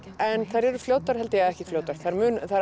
en þær eru fljótar eða ekki fljótar þær